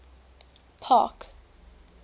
park